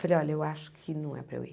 Falei, olha, eu acho que não é para eu ir.